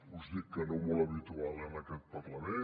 us dic que no molt habitual en aquest parlament